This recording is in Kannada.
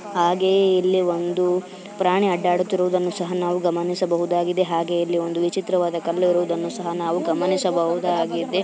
ಹಾಗೆ ಇಲ್ಲಿ ಒಂದು ಪ್ರಾಣಿ ಆಡಾಡುತ್ತಿರುವುದನ್ನು ಸಹ ನಾವು ಗಮನಿಸಬಹುದಗಿದೆ ಹಾಗೆ ಇಲ್ಲಿ ಒಂದು ವಿಚಿತ್ರವಾದ ಕಲ್ಲು ಇರುವುದನ್ನು ಸಹ ನಾವು ಗಮನಿಸಬಹುದಾಗಿದೆ--